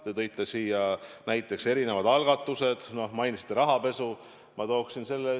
Te tõite näiteks erinevad algatused, mainisite rahapesu.